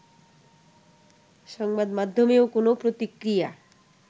সংবাদমাধ্যমেও কোনও প্রতিক্রিয়া